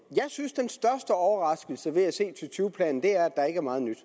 jeg synes den største overraskelse ved at se to tyve planen er at der ikke er meget nyt